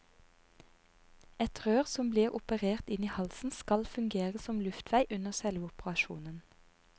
Et rør som blir operert inn i halsen skal fungere som luftvei under selve operasjonen.